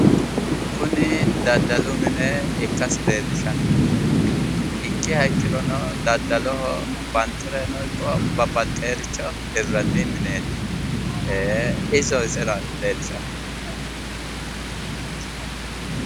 Kuni daddalu mine ikkasi leellishanno. Ikkiha ikkirono daddaloho banxireno ikko babbaxxiworicho hirranni mineeti. Iso iseraati leellishaahu.